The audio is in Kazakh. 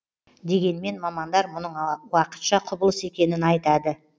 дегенмен мамандар мұның уақытша құбылыс екенін айтады